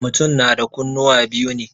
Mutum na da kunnuwa biyu ne.